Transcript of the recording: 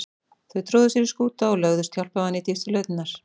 Þau tróðu sér í skúta eða lögðust hjálparvana í dýpstu lautirnar.